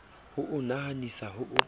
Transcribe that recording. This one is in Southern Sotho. ho o nahanisisa ho o